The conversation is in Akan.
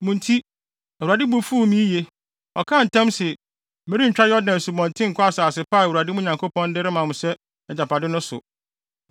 Mo nti, Awurade bo fuw me yiye. Ɔkaa ntam se, merentwa Asubɔnten Yordan nkɔ asase pa a Awurade, mo Nyankopɔn, de rema mo sɛ mo agyapade no so.